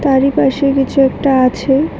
তারই পাশে কিছু একটা আছে।